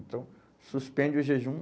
Então, suspende o jejum.